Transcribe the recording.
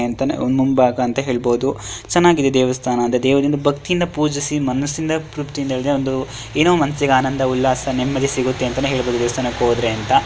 ಎಂತನೆ ಮುಂಭಾಗ ಅಂತ ಹೇಳ್ಬಹುದು ಚೆನ್ನಾಗಿದೆ ದೇವಸ್ಥಾನ ದೇವ್ರನ್ನ ಭಕ್ತಿಯಿಂದ ಪೂಜಿಸಿ ಮನಸಿಂದ ಒಂದು ಏನೋ ಒಂದು ಆನಂದ ಉಲ್ಲಾಸ ನೆಮ್ಮದಿ ಸಿಗುತ್ತೆ ಅಂತಾನೂ ಹೇಳ್ಬಹುದು ದೇವಸ್ಥಾನಕ್ಕೆ ಹೋದ್ರೆ ಅಂತ.